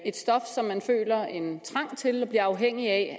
et stof som man føler en trang til og bliver afhængig af